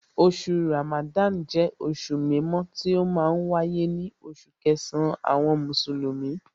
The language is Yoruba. Oṣù Ramadan jẹ́ oṣù mímọ́ tí ó ma ń wáyé ní oṣù kẹsàn-án àwọn Mùsùlùmí